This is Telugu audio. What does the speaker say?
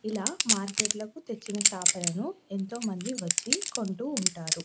ఇలా మార్కెట్ కు తెచ్చిన చేపలను ఎంతో మంది వచ్చి కొంటూ ఉంటారు.